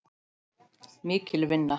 Mikil vinna.